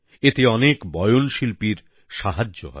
এতে অনেক বয়ন শিল্পীর সাহায্য হবে